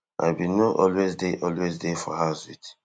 i bin no always dey always dey for house wit